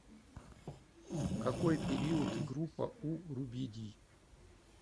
какой период и группа у рубидий